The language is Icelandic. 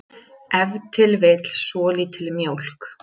ef til vill svolítil mjólk